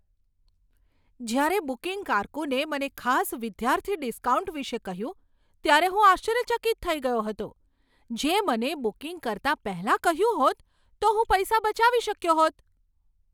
જ્યારે બુકિંગ કારકુને મને ખાસ વિદ્યાર્થી ડિસ્કાઉન્ટ વિશે કહ્યું ત્યારે હું આશ્ચર્યચકિત થઈ ગયો હતો, જે મને બુકિંગ કરતા પહેલાં કહ્યું હોત તો હું પૈસા બચાવી શક્યો હોત.